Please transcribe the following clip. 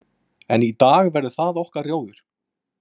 En í dag verður það okkar rjóður.